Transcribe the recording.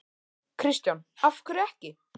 Kristján: Af hverju ekki?